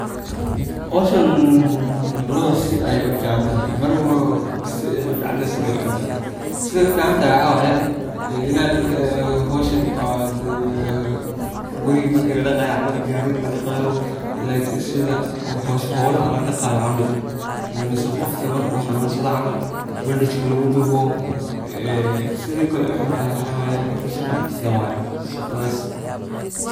Howshan lawo sii ayey uficantahay mar si ayey uficantahy sina wey uxuntahay, sida ey uficantahay wxa waye inad howshan guriga marka ladaqayo camal ama gariga ladaqayo sida howlaha ladaqayo camal mise qofka marku xanunsada camal bandaj luguduwo sida kale uxuntahay waxa waye horta shaqo badan waye.